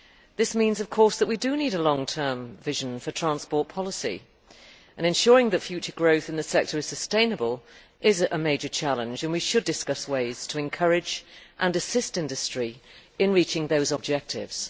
This means that we do need a long term vision for transport policy. Ensuring that future growth in the sector is sustainable is a major challenge, and we should discuss ways to encourage and assist industry in reaching those objectives.